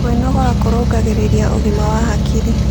Kwĩnogora kũrũngagĩrĩrĩa ũgima wa hakĩrĩ